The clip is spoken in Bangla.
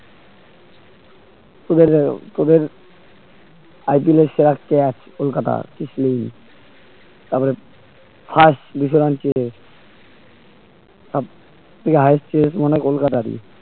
তোদের তোদের IPL এর সেরা কে আছে কলকাতার তারপরে first highest কলকাতারই